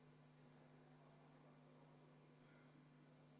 Kuulutan välja vaheaja 20 minutit.